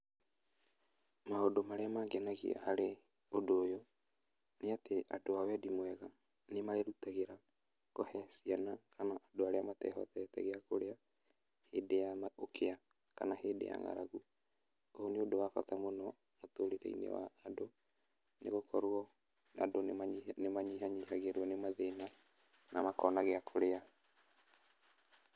Maũndũ marĩa mangenagia harĩ ũndũ ũyũ, nĩatĩ andũ a wendi mwega nĩmerutagĩra kũhe ciana kana andũ arĩa matehotete gĩakũrĩa hĩndĩ ya ũkĩa kana hĩndĩ ya nga'ragu. Ũũ nĩ ũndũ wa bata mũno mũtũrire-inĩ wa andũ nĩgũkorwo andũ nĩmanyihanyihagĩrwo nĩ mathĩna na makona gĩakũrĩa.